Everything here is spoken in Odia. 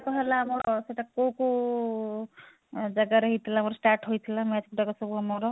ହେଲା ଆମର ସେଟା କଉ କଉ ଜାଗା ରେ ହେଇଥିଲା ଆମର start ହୋଇଥିଲା match ତକ ସବୁ ଆମର